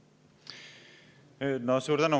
Suur tänu!